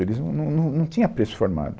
Eles num, num, num, não tinha preço formado.